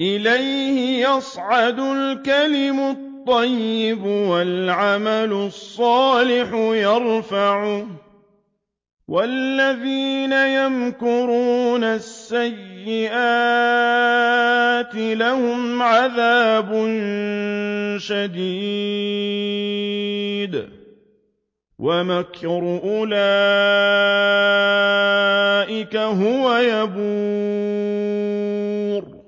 إِلَيْهِ يَصْعَدُ الْكَلِمُ الطَّيِّبُ وَالْعَمَلُ الصَّالِحُ يَرْفَعُهُ ۚ وَالَّذِينَ يَمْكُرُونَ السَّيِّئَاتِ لَهُمْ عَذَابٌ شَدِيدٌ ۖ وَمَكْرُ أُولَٰئِكَ هُوَ يَبُورُ